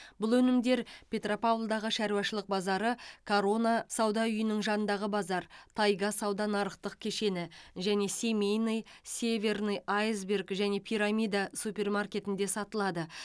бұл өнімдер петропавлдағы шаруашылық базары корона сауда үйінің жанындағы базар тайга сауда нарықтық кешені және семейный северный айсберг және пирамида супермаркетінде сатылады